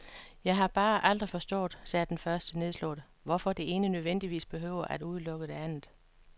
Jeg har bare aldrig forstået, sagde den første nedslået, hvorfor det ene nødvendigvis behøver at udelukke det andet.